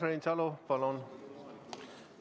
Urmas Reinsalu, palun!